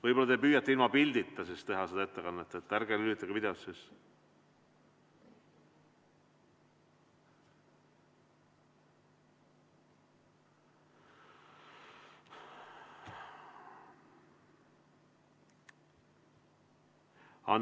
Võib-olla te püüate ilma pildita teha seda ettekannet, ärge lülitage videot sisse.